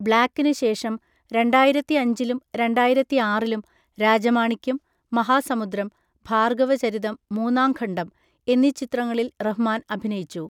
ബ്ലാക്കിന് ശേഷം രണ്ടായിരത്തി അഞ്ചിലും രണ്ടായിരത്തി ആറിലും രാജമാണിക്യം, മഹാസമുദ്രം, ഭാർഗവചരിതം മൂന്നാംഖണ്ഡം എന്നീ ചിത്രങ്ങളിൽ റഹ്മാൻ അഭിനയിച്ചു.